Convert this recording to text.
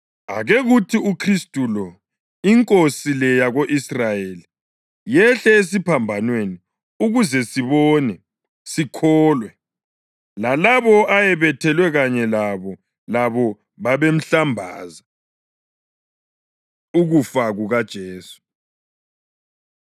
Ake kuthi uKhristu lo, iNkosi le yako-Israyeli, yehle esiphambanweni ukuze sibone, sikholwe.” Lalabo ayebethelwe kanye labo, labo babemhlambaza. Ukufa KukaJesu